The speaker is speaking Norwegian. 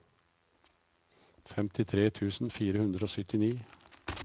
femtitre tusen fire hundre og syttini